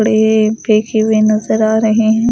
अडे फेकी हुए नजर आ रहे हैं।